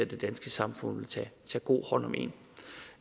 det danske samfund vil tage god hånd om en